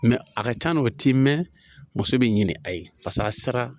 Mɛ a ka can dɛ o t'i mɛn muso bɛ ɲini a ye paseke a sara